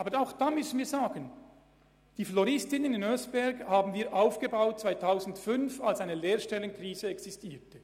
Aber wir haben die Floristinnenausbildung in Oeschberg im Jahr 2005 aufgebaut, als eine Lehrstellenkrise herrschte.